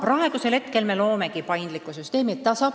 Nii et nüüd me loomegi paindlikku süsteemi.